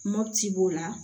Mopti b'o la